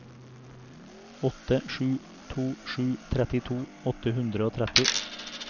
åtte sju to sju trettito åtte hundre og tretti